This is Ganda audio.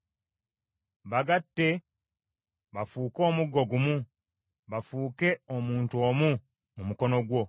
Bagatte bafuuke omuggo gumu, bafuuke omuntu omu mu mukono gwo.